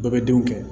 Bɛɛ bɛ denw kɛ